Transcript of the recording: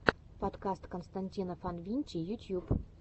подкаст константина фанвинчи ютьюб